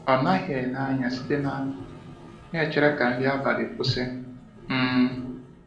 Ọ naghị ele anya site n’akụkụ, na-echere ka nri abalị kwụsị. um